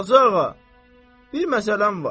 Qazı ağa, bir məsələm var.